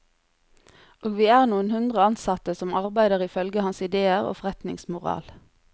Og vi er noen hundre ansatte som arbeider ifølge hans idéer og forretningsmoral.